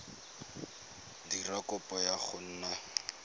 dira kopo ya go nna